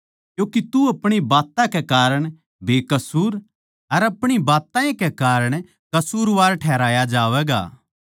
क्यूँके तू अपणी बात्तां कै कारण बेकसूर अर अपणी बात्तां ए कै कारण कसूरवार ठहराया जावैगा